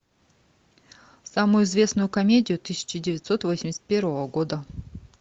самую известную комедию тысяча девятьсот восемьдесят первого года